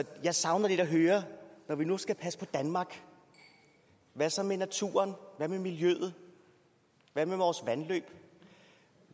jeg savner lidt at høre når vi nu skal passe på danmark hvad så med naturen hvad med miljøet hvad med vores vandløb